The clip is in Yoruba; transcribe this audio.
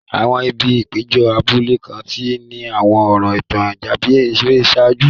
Àwọn ibi ìpéjọ abúlé kan ti ní àwọn ọ̀rọ̀ ìtàn tàbí ère ṣáájú.